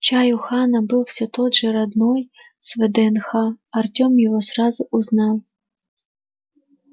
чай у хана был все тот же родной с вднх артем его сразу узнал